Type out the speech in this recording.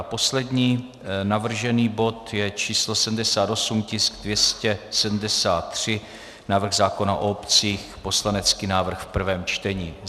A poslední navržený bod je číslo 78, tisk 273, návrh zákona o obcích, poslanecký návrh v prvém čtení.